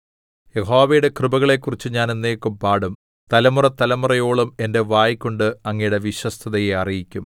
യഹോവയുടെ കൃപകളെക്കുറിച്ച് ഞാൻ എന്നേക്കും പാടും തലമുറതലമുറയോളം എന്റെ വായ്കൊണ്ട് അങ്ങയുടെ വിശ്വസ്തതയെ അറിയിക്കും